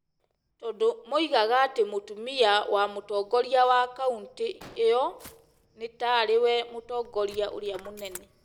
tondũ moigaga atĩ mũtumia wa mũtongoria wa kauntĩ ĩyo nĩ ta rĩ we "Mũtongoria ũrĩa Mũnene",